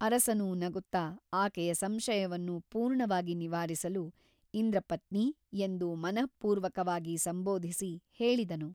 ಅರಸನು ನಗುತ್ತಾ ಆಕೆಯ ಸಂಶಯವನ್ನು ಪೂರ್ಣವಾಗಿ ನಿವಾರಿಸಲು ಇಂದ್ರಪತ್ನಿ ಎಂದು ಮನಃಪೂರ್ವಕವಾಗಿ ಸಂಬೋಧಿಸಿ ಹೇಳಿದನು.